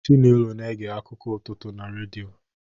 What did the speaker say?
Chinelo na-ege akụkọ ụtụtụ na redio